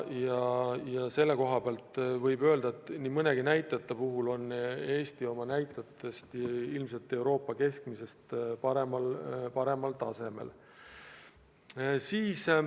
Ja selle koha pealt võib öelda, et Eesti on nii mõnegi näitajaga ilmselt Euroopa keskmisest paremal tasemel.